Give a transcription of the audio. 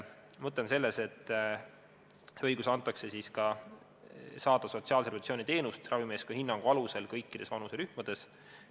Mõte on selles, et antakse õigus saada sotsiaalse rehabilitatsiooni teenust ravimeeskonna hinnangu alusel kõikides vanuserühmades.